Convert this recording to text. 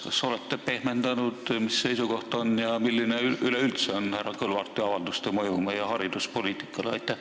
Kas te olete pehmendanud, mis teie seisukoht on ja milline üleüldse on härra Kõlvarti avalduste mõju meie hariduspoliitikale?